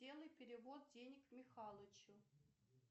сделай перевод денег михалычу